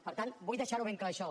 per tant vull deixar ho ben clar això